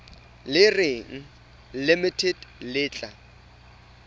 le reng limited le tla